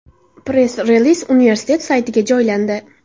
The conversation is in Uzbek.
Press-reliz universitet saytiga joylandi .